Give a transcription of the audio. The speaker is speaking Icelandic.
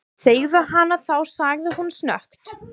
Segðu hana þá sagði hún snöggt.